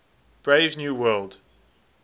brave new world